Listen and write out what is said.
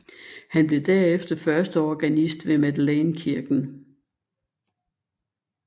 Han blev derefter førsteorganist ved Madeleinekirken